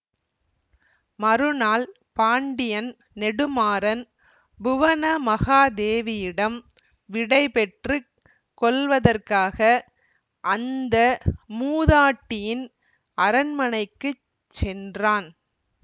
மறுநாள் பாண்டியன் நெடுமாறன் புவனமகாதேவியிடம் விடைபெற்று கொள்வதற்காக அந்த மூதாட்டியின் அரண்மனைக்குச் சென்றான்